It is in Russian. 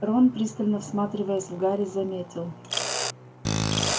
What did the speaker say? рон пристально всматриваясь в гарри заметил